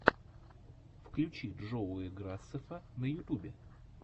включи джоуи грасеффа на ютюбе